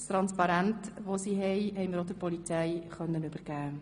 Deren Transparent konnten wir auch der Polizei übergeben.